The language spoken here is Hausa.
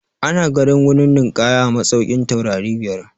Ana ganin wurin ninƙaya a masaukin taurari biyar.